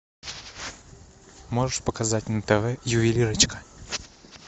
можешь показать на тв ювелирочка